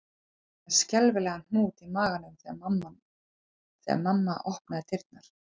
Ég var með skelfilegan hnút í maganum þegar mamma opnaði dyrnar